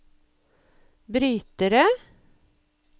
brytere